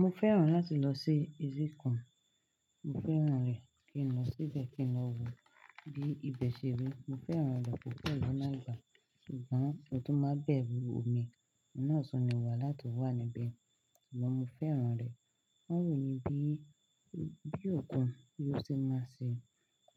Mo fẹ́ràn láti lọ sí etíkan. Mo fẹ́ràn rẹ̀. Kí n lọ síbẹ̀, kí n lọ wo bí ibẹ̀ ṣe rí. Mo fẹ́ràn ọ̀dọ̀ púpọ̀ ìlú lágbà, ṣùgbọ́n ohun tó máa ń bẹ̀ òmi, ìnáàsọ ni wà láti wà níbẹ̀. Ṣùgbọ́n mo fẹ́ràn rẹ̀. Wọn wò mí bí, bí ọ̀dọ́ yóò ṣe máa ṣe,